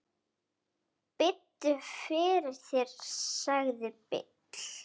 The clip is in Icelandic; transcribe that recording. Biddu fyrir þér, sagði Bill.